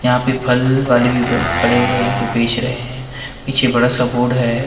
यहाँ पे फल वाले भी खड़े हुए है जो बेच रहे है पीछे बड़ा सा बोर्ड है।